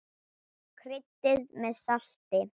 Kryddið með salti.